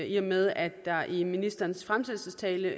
i og med at der i ministerens fremsættelsestale